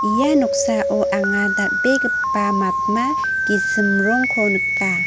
ia noksao anga dal·begipa matma gisim rongko nika.